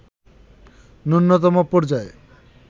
ন্যূনতম পর্যায়ে